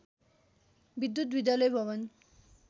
विद्युत विद्यालय भवन